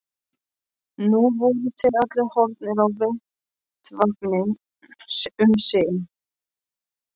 Nú voru þeir allir horfnir af vettvangi um sinn.